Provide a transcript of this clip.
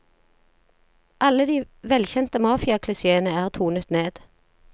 Alle de velkjente mafiaklisjeene er tonet ned.